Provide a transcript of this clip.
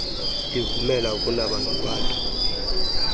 ivumela ukunaba nokwanda